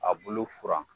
A bulu furan